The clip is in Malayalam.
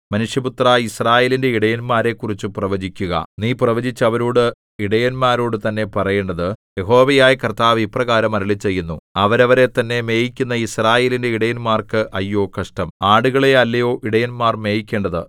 മനുഷ്യപുത്രാ യിസ്രായേലിന്റെ ഇടയന്മാരെക്കുറിച്ചു പ്രവചിക്കുക നീ പ്രവചിച്ച് അവരോട് ഇടയന്മാരോടു തന്നെ പറയേണ്ടത് യഹോവയായ കർത്താവ് ഇപ്രകാരം അരുളിച്ചെയ്യുന്നു അവരവരെത്തന്നെ മേയിക്കുന്ന യിസ്രായേലിന്റെ ഇടയന്മാർക്ക് അയ്യോ കഷ്ടം ആടുകളെ അല്ലയോ ഇടയന്മാർ മേയിക്കേണ്ടത്